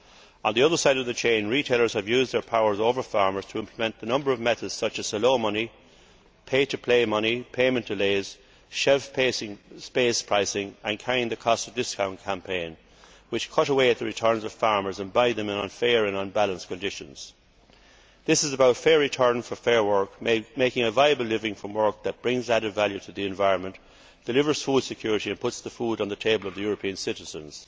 On the other side of the chain, retailers have used their powers over farmers to implement a number of methods such as hello money', pay to play money', payment delays, shelf space pricing and carrying the costs of discount campaigns, which cut away at the returns of farmers and buy their produce in unfair and unbalanced conditions. This is about fair return for fair work, making a viable living from work that brings added value to the environment, delivers food security and puts food on the table of the European citizens.